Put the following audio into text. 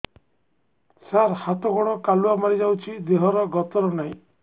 ସାର ହାତ ଗୋଡ଼ କାଲୁଆ ମାରି ଯାଉଛି ଦେହର ଗତର ନାହିଁ